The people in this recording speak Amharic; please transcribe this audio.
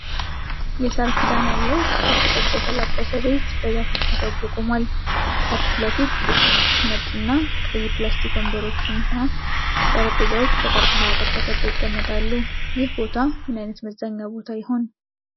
የሣር ክዳን ያለው ክብ ቅርጽ የተላበሰ ቤት በዛፎች ተከቦ ቆሟል። ከፊት ለፊት ጥቂት ነጭና ቀይ ፕላስቲክ ወንበሮችና ጠረጴዛዎች በቀርከሃ አጥር ተከበው ይቀመጣሉ። ይህ ቦታ ምን አይነት መዝናኛ ቦታ ይሆን